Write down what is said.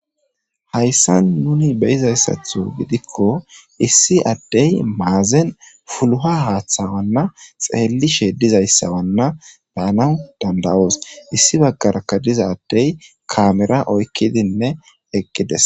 hayssa nuni beyizayssatho gidikko issi addey maazen fuluha haaththawanna xeellishe dizayssawanna baana dandawoos issi baggarakka diza addey kamera oykkidinne eqqides